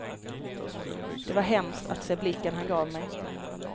Det var hemskt att se blicken han gav mig.